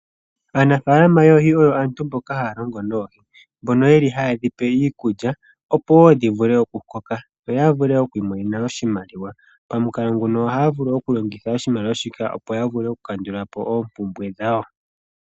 Aanafalama yoohi oyo aantu mpoka haya longo noohi, mbono ye li haye dhipe iikulya opo wo dhi vule okukoka, yo ya vule okwiimonena mo oshimaliwa. Pamukalo nguno ohaya vulu okulongitha oshimaliwa shika opo ya vule okukandula po oopumbwe dhawo.